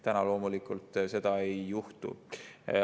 Nüüd loomulikult seda ei juhtu.